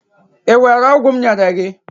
i were ogwu m nyere gi?